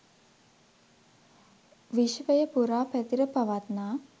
විශ්වය පුරා පැතිර පවත්නා